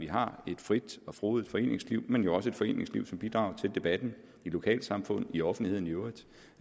har et frit og frodigt foreningsliv men også et foreningsliv som bidrager til debatten i lokalsamfund i offentligheden i øvrigt